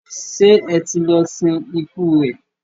ṣe ẹ tí lọ sin ikú rẹ?